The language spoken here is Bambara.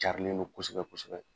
Carilen don kosɛbɛ kosɛbɛ.